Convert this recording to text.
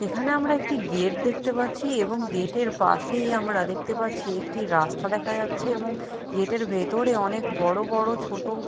এখানে আমরা একটি গেট দেখতে পাচ্ছি এবং গেট -এর পাশেই আমরা দেখতে পাচ্ছি একটি রাস্তা দেখা যাচ্ছে এবং গেট -এর ভেতরে অনেক বড় বড় ছোট--